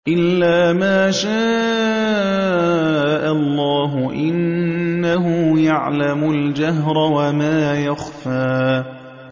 إِلَّا مَا شَاءَ اللَّهُ ۚ إِنَّهُ يَعْلَمُ الْجَهْرَ وَمَا يَخْفَىٰ